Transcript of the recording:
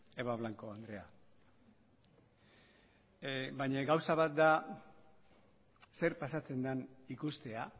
eva blanco andrea baina gauza bat da zer pasatzen den ikustea